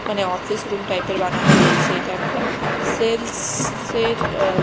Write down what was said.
মানে office room type -এর বানানো রয়েছে এটা একটা সেলস -এর আঃ--